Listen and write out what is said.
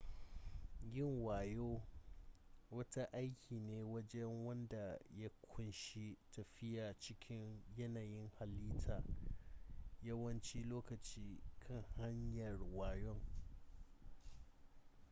yin yawo wata aiki ne na waje wanda ya ƙunshi tafiya cikin yanayin halitta yawancin lokaci kan hanyar yawon